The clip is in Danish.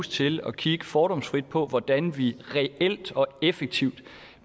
til at kigge fordomsfrit på hvordan vi reelt og effektivt